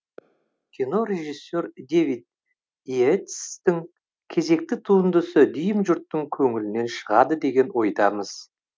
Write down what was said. кинорежиссер дэвид и ейтстің кезекті туындысы дүйім жұрттың көңілінен шығады деген ойдамыз